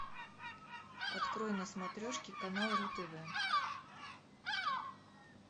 открой на смотрешке канал ру тв